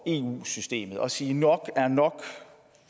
eu systemet og sige at nok er nok